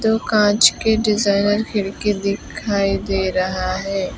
कांच के डिजाइनर खिड़की दिखाई दे रहा है।